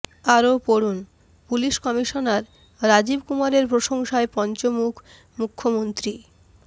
আরও পড়ুন police commissioner Rajib কুমারের প্রশংসায় পঞ্চমুখ মুখ্যমন্ত্রী